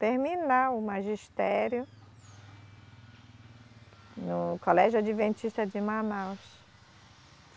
terminar o magistério no Colégio Adventista de Manaus.